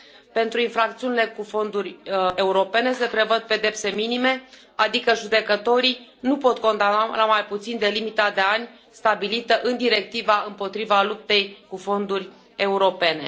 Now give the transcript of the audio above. Pentru infracțiunile cu fonduri europene se prevăd pedepse minime, adică judecătorii nu pot condamna la mai puțin de limita de ani stabilită în Directiva împotriva fraudelor cu fonduri europene.